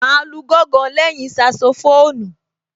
Màá lu gángan lẹ́yìn Saxophone